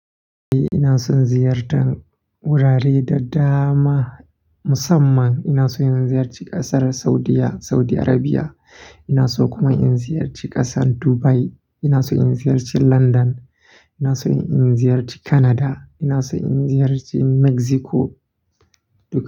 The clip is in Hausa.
Ina son ziyartar wurare daddama musamman ina so in ziyarci ƙasar Saudiya Saudi Arabia. Ina so kuma in ziyarci ƙasar Dubai. Ina so in ziyarci London. Ina so in ziyarci Canada. Ina so in ziyarci Mexico duk.